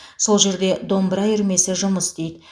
сол жерде домбыра үйірмесі жұмыс істейді